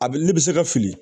A bɛ ne bɛ se ka fili